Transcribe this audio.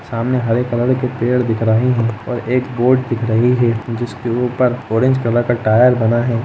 सामने हरे कलर के पेड़ दिख रहे है और एक बोर्ड दिख रही है जिसके ऊपर ऑरेंज कलर का टायर बना हैं।